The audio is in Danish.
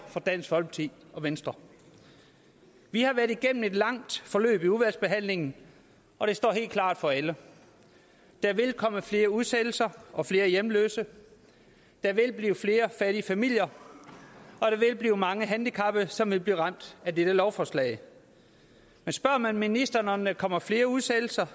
fra dansk folkeparti og venstre vi har været igennem et langt forløb i udvalgsbehandlingen og det står helt klart for alle der vil komme flere udsættelser og flere hjemløse der vil blive flere fattige familier og mange handicappede som vil blive ramt af dette lovforslag men spørger man ministeren om der kommer flere udsættelser